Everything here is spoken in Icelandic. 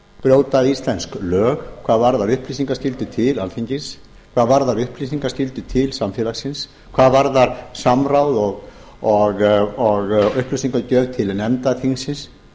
brjóta íslensk lög hvað varðar upplýsingaskyldu til alþingis hvað varðar upplýsingaskyldu til samfélagsins hvað varðar samráð og upplýsingagjöf til nefnda þingsins